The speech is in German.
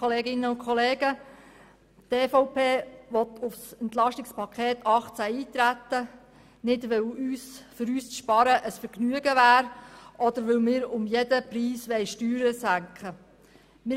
Die EVP will auf das EP 2018 eintreten, nicht, weil für uns das Sparen ein Vergnügen wäre, oder weil wir um jeden Preis Steuern senken wollen.